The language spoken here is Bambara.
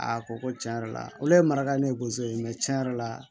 A ko ko tiɲɛ yɛrɛ la olu le ye maraka ne ye bonso ye tiɲɛ yɛrɛ la